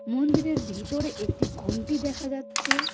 মন্দিরের ভিতরে একটি ঘন্টি দেখা যাচ্ছে.